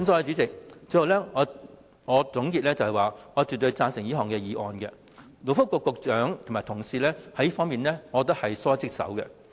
主席，最後我想作個總結，我絕對贊成這項議案，因為我認為勞工及福利局局長及其同事在這方面是疏忽職守的。